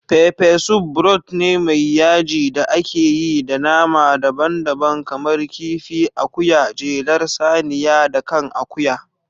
Peppersoup broth ne mai yaji da ake yi da nama daban-daban kamar kifi, akuya, jelar saniya, da kan akuya.